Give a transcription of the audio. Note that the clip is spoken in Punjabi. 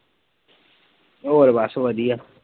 ਹੋਰ ਬਸ ਵਧੀਆ